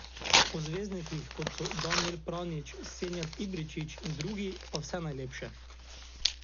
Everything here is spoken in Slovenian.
O zvezdnikih, kot so Danijel Pranjić, Senijad Ibričić in drugi, pa vse najlepše.